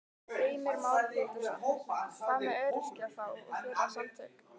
Heimir Már Pétursson: Hvað með öryrkja þá og þeirra samtök?